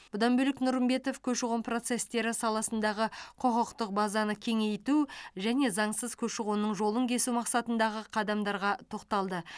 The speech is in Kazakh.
бұдан бөлек нұрымбетов көші қон процестері саласындағы құқықтық базаны кеңейту және заңсыз көші қонның жолын кесу мақсатындағы қадамдарға тоқталды